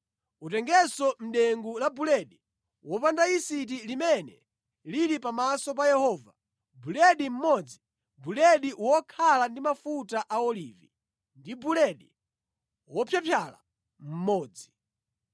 Utengenso mʼdengu la buledi wopanda yisiti limene lili pamaso pa Yehova, buledi mmodzi, buledi wokhala ndi mafuta a olivi, ndi buledi wopyapyala mmodzi.